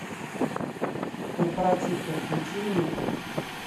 корпоративка включи мне